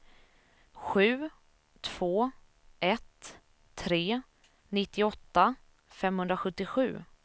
sju två ett tre nittioåtta femhundrasjuttiosju